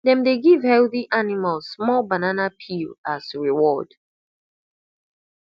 dem dey give healthy animals more banana peel as reward